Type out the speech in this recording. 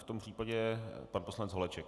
V tom případě pan poslanec Holeček.